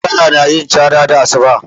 Zakara na yin cara da asuba